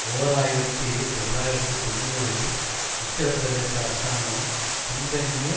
ஓர் ஆயிரத்தி தொள்ளாயிரத்து தொன்னூறில் உத்திரப்பிரதேச அரசாங்கம் பின்தங்கிய